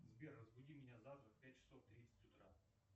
сбер разбуди меня завтра в пять часов тридцать утра